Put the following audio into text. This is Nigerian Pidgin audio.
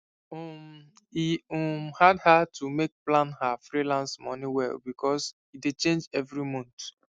um e um hard her to make plan her freelance money well because e dey change every month